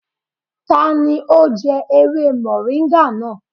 Tani ó jẹ́ ewé mọ̀ríńgà náà?